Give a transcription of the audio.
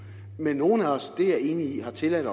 men nogle af os og er jeg enig i har tilladt